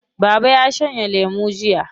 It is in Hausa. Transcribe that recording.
Baba ya shanye lemo jiya.